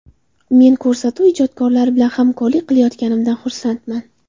Men ko‘rsatuv ijodkorlari bilan hamkorlik qilayotganimdan xursandman.